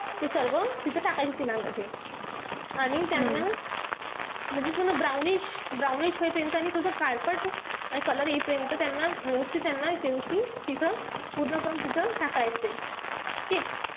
ते सर्व तिथं टाकायचे तेलामध्ये. आणि त्यांना म्हणजे पूर्ण brownish-brownish होईपर्यंत आणि थोडस काळपट आणि color येईपर्यंत त्याना व्यवस्थित त्याना ती तिथं पूर्ण आपण तिथं टाकायचंय. ठीके?